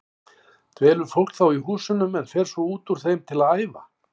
Dvelur fólk þá í húsunum en fer svo út úr þeim til að æfa.